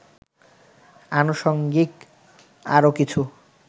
আনুষঙ্গিক আরও কিছু